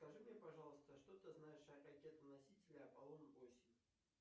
скажи мне пожалуйста что ты знаешь о ракетоносителе аполлон восемь